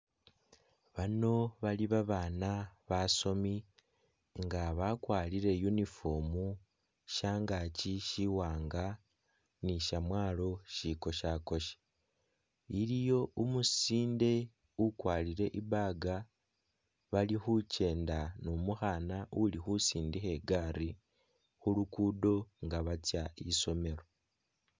Bano bali banana basomi nga bakwarire uniform shyangakyi shiwanga ni shyamwalo shikoshakoshe iliyo umusinde ukwarire I bag bali khukyenda nu mukhana ulikhusindikha igali khulugundo nga bali khutsya isomelo